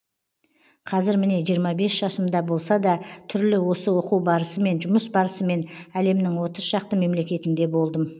қазір міне жиырма бес жасымда болса да түрлі осы оқу барысымен жұмыс барысымен әлемнің отыз шақты мемлекетінде болдым